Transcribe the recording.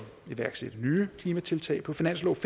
iværksætte nye klimatiltag på finansloven